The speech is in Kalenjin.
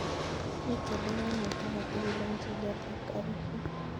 Mi chelewanet agetugul en chilet ap karishek